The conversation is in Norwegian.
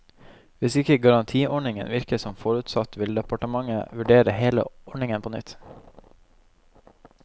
Hvis ikke garantiordningen virker som forutsatt, vil departementet vurdere hele ordningen på nytt.